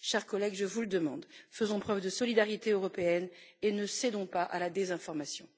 Chers collègues, je vous le demande faisons preuve de solidarité européenne et ne cédons pas à la désinformation.